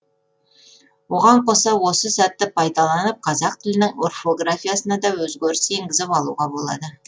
оған қоса осы сәтті пайдаланып қазақ тілінің орфографиясына да өзгерістер енгізіп алуға болады